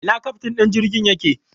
Ina keftin din jirgin yake?